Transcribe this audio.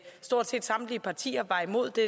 stort set samtlige partier var imod det